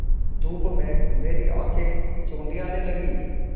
धूप में मेरी आँखें चौंधियाने लगीं